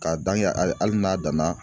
K'a dan kɛ hali hali n'a danna